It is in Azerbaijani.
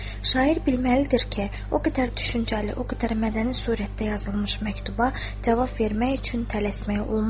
Şair bilməlidir ki, o qədər düşüncəli, o qədər mədəni surətdə yazılmış məktuba cavab vermək üçün tələsmək olmazdı.